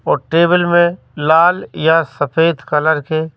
और टेबल में लाल या सफेद कलर के--